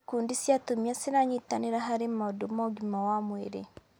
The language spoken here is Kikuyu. Ikundi cia atumia ciranyitanĩra harĩ maũndũ ma ũgima wa mwĩrĩ.